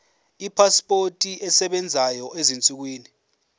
ipasipoti esebenzayo ezinsukwini